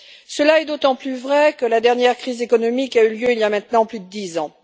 Cela est d'autant plus vrai que la dernière crise économique a eu lieu il y a maintenant plus de dix ans.